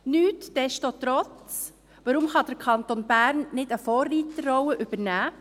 Nichtsdestotrotz: Weshalb kann der Kanton Bern nicht eine Vorreiterrolle übernehmen?